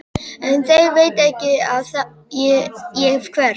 En þeir vita ekki að ég hverf.